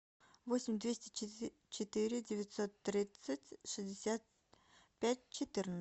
восемь двести четыре девятьсот тридцать шестьдесят пять